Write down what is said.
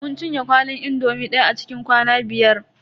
Mun cinye kwalin indomi daya a cikin kwana biyar.